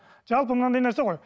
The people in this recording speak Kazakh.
жалпы мынадай нәрсе ғой